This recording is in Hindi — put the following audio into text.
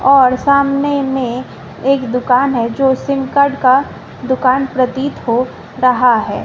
और सामने में एक दुकान है जो सिम कार्ड का दुकान प्रतीत हो रहा है।